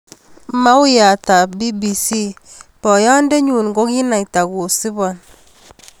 Mauyat ab BBC: Boyondet nyun kokinaita kosubon.